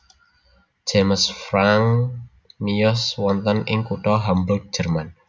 James Franck miyos wonten ing kutha Hamburg Jerman